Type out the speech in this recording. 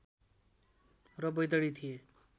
र बैतडी थिए